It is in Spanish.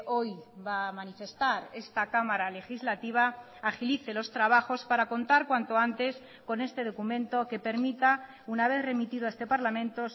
hoy va a manifestar esta cámara legislativa agilice los trabajos para contar cuanto antes con este documento que permita una vez remitido a este parlamento